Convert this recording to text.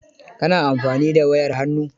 Ka na amfani da wayar hannu?